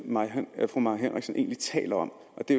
fru mai henriksen egentlig taler om og det